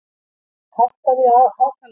Arnald, hækkaðu í hátalaranum.